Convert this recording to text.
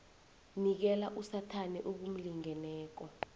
nikela usathana okumlingeneko